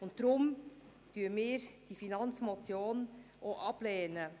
Deshalb lehnen wir diese Finanzmotion auch ab.